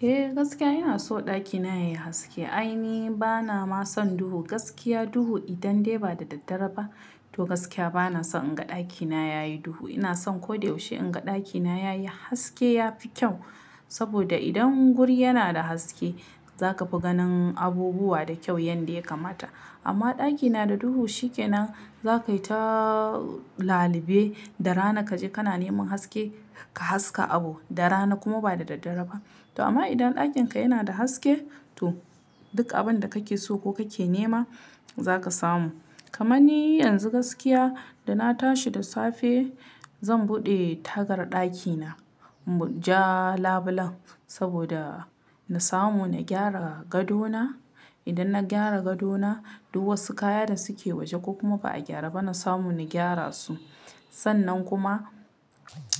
Eh gaskiya ina so ɗakina yayi haske. Ai ni bana ma son duhu. Gaskiya duhu idan dai ba da daddare ba to gaskiya bana so in ga ɗakina yayi duhu. Ina so koda yaushe in ga ɗakina yayi haske, yafi kyau. Saboda idan guri yana da haske za kafi ganin abubuwa da kyau yanda ya kamata. Amma ɗaki yana da duhu shikenan za kayi ta lalibe da rana kaje kana neman haske ka haska abu. Da rana kuma ba da daddare ba. To amma idan ɗakin ka yana da haske to duk abin da kake so ko kake nema zaka samu. Kamani yanzu gaskiya da na tashi da safe zan buɗe tagar ɗakina ja labulen saboda na samu na gyara gado na. Idan na gyara gado na duk wasu kaya da suke waje ko kuma ba'a gyare ba na samu na gyara su. Sannan kuma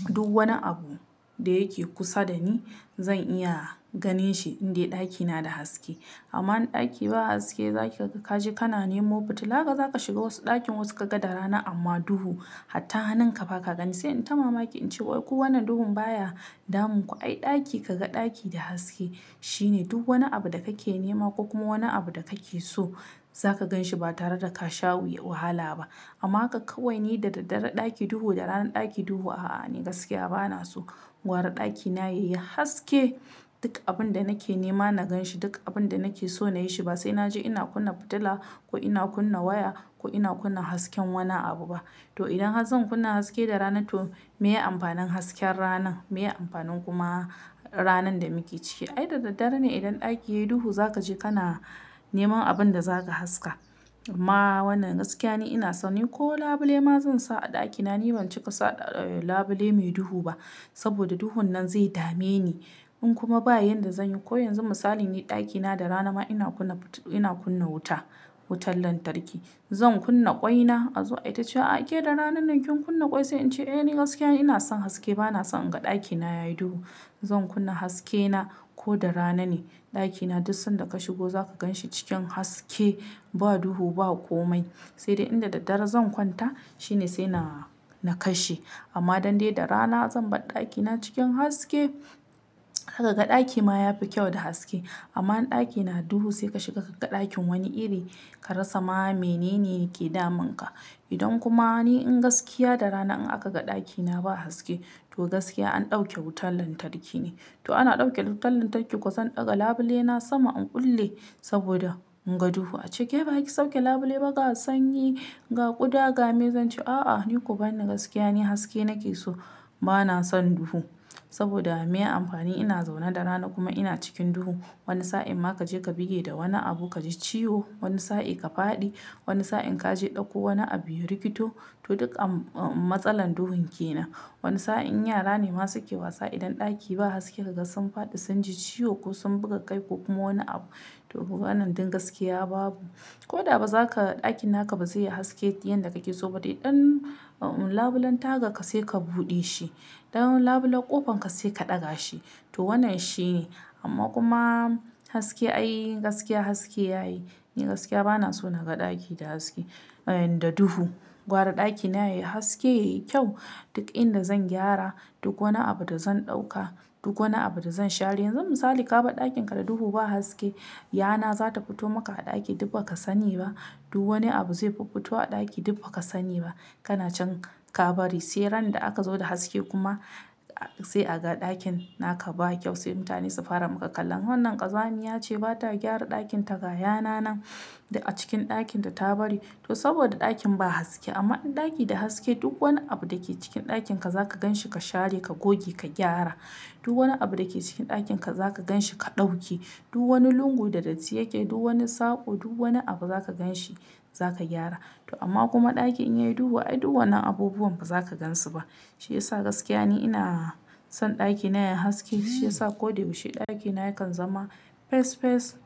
duk wani abu da yake kusa da ni zan iya ganin shi in dai ɗakina da haske. Amma in ɗaki ba haske zaki ga kaje kana nemo fitila haka za ka shiga wasu ɗakin wasu ka ga da rana amma duhu. Hatta hannun ka ba ka gani. Sai in ta mamaki in ce wai ku wannan duhun baya damun ku? Ai ɗaki kaga ɗaki da haske shine duk wani abu da kake nema ko kuma wani abu da kake so zaka gan shi ba tare da ka sha wuya wahala ba. Amma haka kawai ni da daddare ɗaki duhu, da rana ɗaki duhu a'a ni gaskiya bana so. Gwara ɗakina yayi haske duk abin da nake nema na ganshi. Duk abin da nake so na yi shi ba sai naje ina kunna fitila ko ina kunna waya ko ina kunna hasken wani abu ba. To idan zan kunna haske da rana to me ya amfanin hasken rana? Me ya amfanin kuma ranar da muke ciki? Ai da daddare ne idan ɗaki yayi duhu za kaje kana neman abin da zaka haska. Amma wannan gaskiya ni ina so ni ko labule ma zan sa a ɗakina. Ni ban cika sa e labule mai duhu ba saboda duhun nan zai dame ni. In kuma ba yanda zan yi ko yanzu misali ni ɗakina da rana ma ina kunna fit-- ina kunna wuta, wutar lantarki. Zan kunna ƙwaina a zo aita ce wa a'a ke da ranan nan kin kunna ƙwai sai in ce eh ni gaskiya ina son haske bana son in ga ɗakina yayi duhu. Zan kunna haske na ko da rana ne ɗakina duk sanda ka shigo za ka ganshi cikin haske ba duhu ba komai. Sai dai inda daddare zan kwanta shine sai na, na kashe. Amma dan dai da rana zan bar ɗakina cikin haske zaka ga ɗaki ma yafi kyau da haske. Amma in ɗaki na duhu sai ka shiga ka ga ɗakin wani iri ka rasa ma menene yake damun ka. Idan kuma ni in gaskiya da rana in aka ga ɗakina ba haske to gaskiya an ɗauke wutar lantarki ne. To ana ɗauke da wutar lantarki ko zan ɗaga labule na sama in kulle saboda in ga duhu. A ce ke ba ki sauke labule ba ka sanyi ga ƙuda ga maye zan ce a'a ni ku ban ni gaskiya ne haske nake so bana son duhu. Saboda me amfani ina zaune da rana kuma ina cikin duhu. Wani sa'in ma kaje ka buge da wani abu kaji ciwo, wani sa'i ka faɗi, wani sa'in kaje ka ɗauko wani abu ya rikito. To duk matsalan duhun ke nan. Wani sa'in yara ne masu wasa idan ɗaki ba haske ka ga sun faɗi sunji ciwo ko sun buga kai ko kuma wani abu. To wannan duk gaskiya babu. Ko da ba zaka-- ɗakin naka ba zai yi haske yanda kake so ba. Dan uh labulen tagar ka sai ka buɗe shi. Ɗan labulen ƙofan ka sai ka ɗaga shi. To wannan shine. Amma kuma haske ai gaskiya haske yayi. Ni gaskiya bana so naga ɗaki da haske-- da duhu. Gwara ɗakina yayi haske, yayi kyau. Duk inda zan gyara, duk wani abu da zan ɗauka, duk wani abu da zan share. Yanzun misali ka bar ɗakin ka da duhu ba haske, yana zata fito maka a ɗaki duk ba ka sani ba. Duk wani abu zai fiffito a ɗaki duk ba ka sani ba. Kana can ka bari sai ran da aka zo da haske kuma sai a ga ɗakin naka ba kyau sai mutane su fara maka kallon wannan ƙazamiya ce bata gyara ɗakin ta ga yana nan duk a cikin ɗakin ta ta bari. To saboda ɗakin ba haske. Amma in ɗaki da haske duk wani abu da ke cikin ɗakin ka za ka ganshi ka share, ka goge, ka gyara. Duk wani abu da ke cikin ɗakin ka za ka ganshi ka ɗauki. Duk wani lungu da datti yake, duk wani saƙo, duk wani abu za ka ganshi za ka gyara. To amma kuma ɗaki in yayi duhu ai duk wannan abubuwan ba za ka gansu ba. Shi ya sa gaskiya ni ina son ɗakina yayi haske. Shi ya sa koda yaushe ɗakina yakan zama fes fes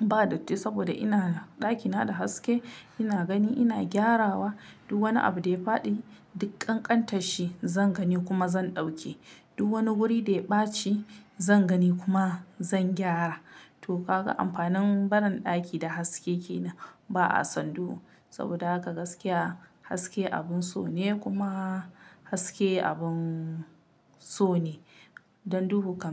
ba datti saboda ina da ɗakina da haske. Ina gani ina gyarawa. Duk wani abu da ya faɗi diƙƙanƙantanshi zan gani kuma zan ɗauke. Duk wani wuri da ya ɓaci zan gani kuma zan gyara. To haka amfanin barin ɗaki da haske ke nan. Ba a son duhu saboda haka gaskiya haske abun so ne kuma haske abun so ne. Dan duhu kam.